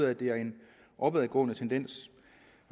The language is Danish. at det er en opadgående tendens